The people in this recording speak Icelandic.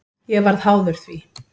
Ég varð háður því.